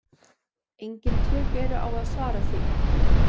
Engin tök eru á að svara því.